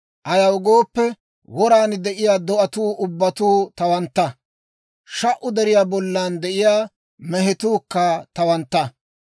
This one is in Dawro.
Ayaw gooppe, woraan de'iyaa do'atuu ubbatuu tawantta; sha"u deriyaa bollan de'iyaa mehetuukka tawantta.